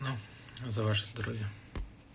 ну за ваше здоровье